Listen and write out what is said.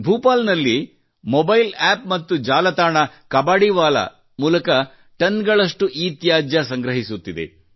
ಭೋಪಾಲ್ ನಲ್ಲಿ mobile App ಮತ್ತು ಜಾಲತಾಣ ಕಬಾಡೀವಾಲ ಮೂಲಕ ಟನ್ ಗಳಷ್ಟು ಇತ್ಯಾಜ್ಯ ಸಂಗ್ರಹಿಸುತ್ತಿದೆ